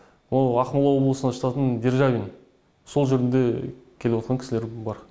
мынау ақмола облысына жататын державин сол жерден де келіватқан кісілер бар